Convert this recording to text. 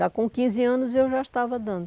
Já com quinze anos, eu já estava dando.